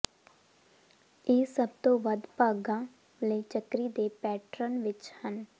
ਇਹ ਸਭ ਤੋਂ ਵੱਧ ਭਾਗਾਂ ਲਈ ਚੱਕਰੀ ਦੇ ਪੈਟਰਨ ਵਿਚ ਹਨ